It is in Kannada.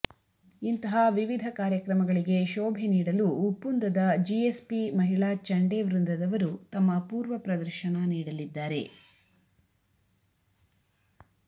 ಇಂತಹ ವಿವಿಧ ಕಾರ್ಯಕ್ರಮಗಳಿಗೆ ಶೋಭೆ ನೀಡಲು ಉಪ್ಪುಂದದ ಜಿಎಸ್ಬಿ ಮಹಿಳಾ ಚಂಡೆ ವೃಂದದವರು ತಮ್ಮ ಅಪೂರ್ವ ಪ್ರದರ್ಶನ ನೀಡಲಿದ್ದಾರೆ